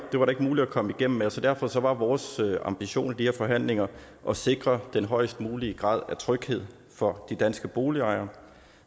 muligt at komme igennem med så derfor var vores ambition i de her forhandlinger at sikre den højest mulige grad af tryghed for de danske boligejere